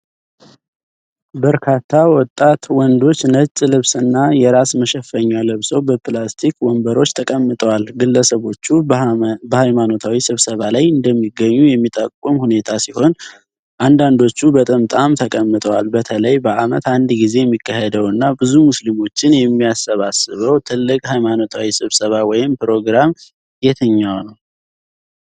በርካታ ወጣት ወንዶች ነጭ ልብስና የራስ መሸፈኛ ለብሰው በፕላስቲክ ወንበሮች ተቀምጠዋል። ግለሰቦቹ በሃይማኖታዊ ስብሰባ ላይ እንደሚገኙ የሚጠቁም ሁኔታ ሲሆን፣ አንዳንዶቹ በጥምጣም ተጠቅመዋል። በተለይ በዓመት አንድ ጊዜ የሚካሄደውና ብዙ ሙስሊሞችን የሚያሰባስበው ትልቅ ሃይማኖታዊ ስብሰባ ወይም ፕሮግራም የትኛውነው?